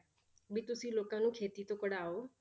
ਵੀ ਤੁਸੀਂ ਲੋਕਾਂ ਨੂੰ ਖੇਤੀ ਤੋਂ ਕਢਾਓ